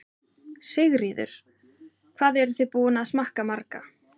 Sigríður: Hvað eruð þið búin að smakka marga?